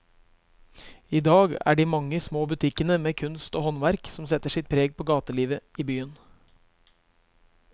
I dag er det de mange små butikkene med kunst og håndverk som setter sitt preg på gatelivet i byen.